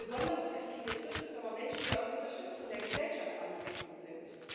Besonders perfide trifft es aber Menschen, die auf Unterstützung der Gesellschaft angewiesen sind.